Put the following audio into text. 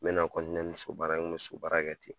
Mena ni sugubaara n kun bɛ sugubaara kɛ ten.